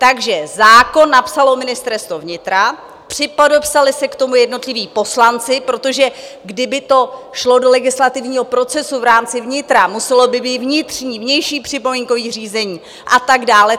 Takže zákon napsalo Ministerstvo vnitra, připodepsali se k tomu jednotliví poslanci, protože kdyby to šlo do legislativního procesu v rámci vnitra, muselo by být vnitřní, vnější připomínkové řízení a tak dále.